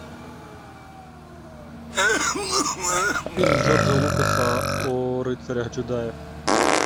фильм джорджа лукаса о рыцарях джедаях